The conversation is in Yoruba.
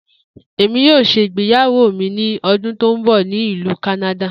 Emi yoo ṣe igbeyawo mi ni ọdun to nbọ ni Ilu Kanada.